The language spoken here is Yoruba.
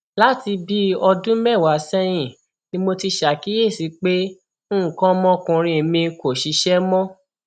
láti bíi ọdún mẹwàá sẹyìn ni mo ti ṣàkíyèsí pé nǹkan ọmọkùnrin mi kò ṣiṣẹ mọ